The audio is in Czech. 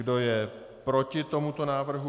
Kdo je proti tomuto návrhu?